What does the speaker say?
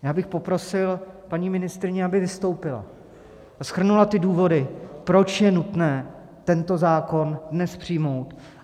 Já bych poprosil paní ministryni, aby vystoupila a shrnula ty důvody, proč je nutné tento zákon dnes přijmout.